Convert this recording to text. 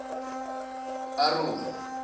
aroni